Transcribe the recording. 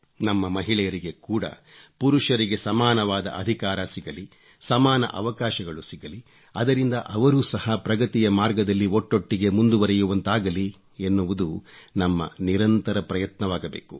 ನಮ್ಮ ಮಹಿಳೆಯರಿಗೆ ಕೂಡ ಪುರುಷರಿಗೆ ಸಮಾನವಾದ ಅಧಿಕಾರ ಸಿಗಲಿ ಸಮಾನ ಅವಕಾಶಗಳು ಸಿಗಲಿ ಅದರಿಂದ ಅವರೂ ಸಹ ಪ್ರಗತಿಯ ಮಾರ್ಗದಲ್ಲಿ ಒಟ್ಟೊಟ್ಟಿಗೆ ಮುಂದುವರೆಯುವಂತಾಗಲಿ ಎನ್ನುವುದು ನಮ್ಮ ನಿರಂತರ ಪ್ರಯತ್ನವಾಗಬೇಕು